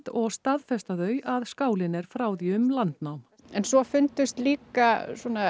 og staðfesta þau að skálinn er frá því um landnám svo fundust líka